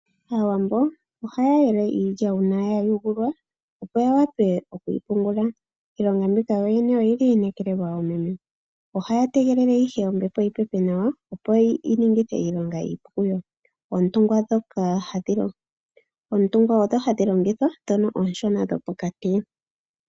Aawambo ohaya yele iilya una yayungulwa opo ya wape okuyi pungulula ilonga mbika yoyene oyili yinekelelwa oomeme ohaya tegelele ihe ombepo yi pepe nawa opo yi ningithe iilonga iipu kuyo ootungwa odho hadhi longithwa dhoka oshona dho pokati .